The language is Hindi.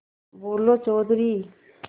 बोलो चौधरी